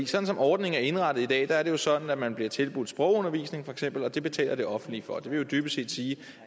sådan som ordningen er indrettet i dag er det jo sådan at man bliver tilbudt sprogundervisning feks og det betaler det offentlige for det vil dybest set sige